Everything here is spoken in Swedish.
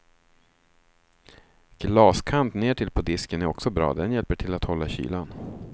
Glaskant nertill på disken är också bra, den hjälper till att hålla kylan.